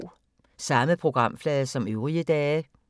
Samme programflade som øvrige dage